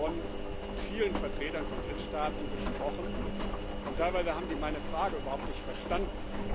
Ich habe in Bonn mit vielen Vertretern von Drittstaaten gesprochen, und teilweise haben die meine Frage überhaupt nicht verstanden.